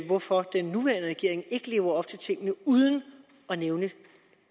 hvorfor den nuværende regering ikke lever op til tingene uden at nævne